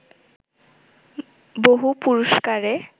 বহু পুরস্কারে